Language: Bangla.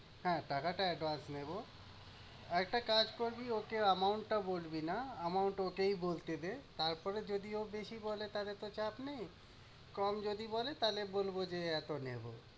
হ্যাঁ টাকাটা advance নেবো। একটা কাজ করবি, ওকে amount টা বলবি না। amount ওটাই বলতে দে। তারপরে যদি ও বেশি বলে তাইলে তো চাপ নেই, কম যদি বলে তাইলে বলবো যে এতো নেবো।